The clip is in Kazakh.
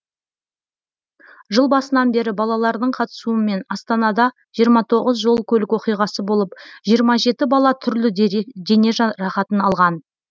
жыл басынан бері балалардың қатысуымен астанада жиырма тоғыз жол көлік оқиғасы болып жиырма жеті бала түрлі дене жарақатын алған